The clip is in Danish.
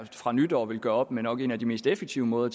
fra nytår vil gøre op med nok en af de mest effektive måder